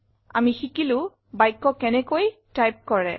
আমি শিকিলো বাক্য কেনেকৈ টাইপ কৰে